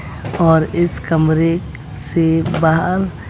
और इस कमरे से बाहर--